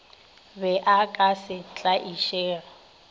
be o ka se tlaišege